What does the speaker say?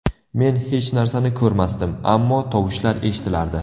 Men hech narsani ko‘rmasdim, ammo tovushlar eshitilardi.